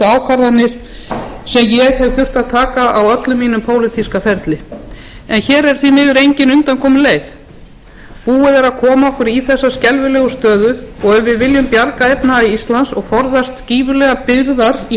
ákvarðanir sem ég hef þurft að taka á öllum mínum pólitíska ferli en hér er því miður engin undankomuleið búið er að koma okkur í þessa skelfilegu stöðu og ef við viljum bjarga efnahag íslands og forðast gífurlegar byrðar í